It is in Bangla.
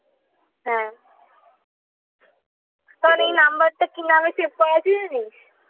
হ্যাঁ এই number টা কি নামে save করেছি জানিস?